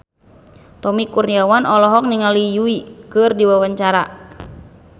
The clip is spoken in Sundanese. Tommy Kurniawan olohok ningali Yui keur diwawancara